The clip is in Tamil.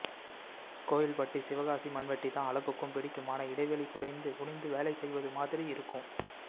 கோயில்பட்டி சிவகாசி மண்வெட்டிதான் அலகுக்கும் பிடிக்குமான இடைவெளி குறைந்து குனிந்து வேலைசெய்வதுமாதிரி இருக்கும்